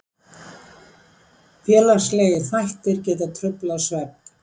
Félagslegir þættir geta truflað svefn.